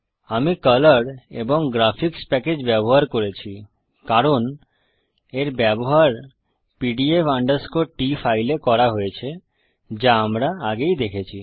আমি কলর এবং graphics package ব্যবহার করেছি কারণ এর ব্যবহার pdf t ফাইল এ করা হয়েছে যা আমরা আগেই দেখেছি